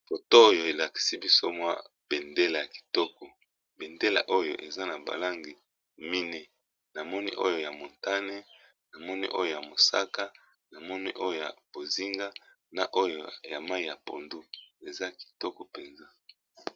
Foto oyo elakisi biso bendele ya kitoko eza na balangi mine namoni oyo ya mutane, bonzenga ya mosaka na langi ya mayi ya pondu.